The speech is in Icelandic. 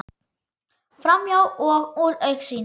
Framhjá og úr augsýn.